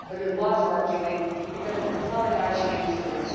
But it was worth doing, because it is a solidarity instrument.